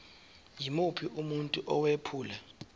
yimuphi umuntu owephula